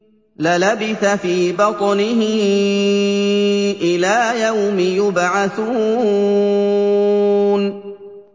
لَلَبِثَ فِي بَطْنِهِ إِلَىٰ يَوْمِ يُبْعَثُونَ